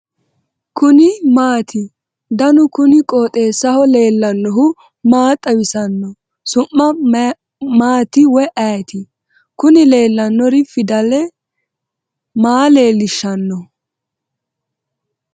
kuni maati ? danu kuni qooxeessaho leellannohu maa xawisanno su'mu maati woy ayeti ? kuni leellannori fidale maa leellishshanno ?